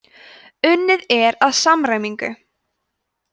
unnið er að samræmingu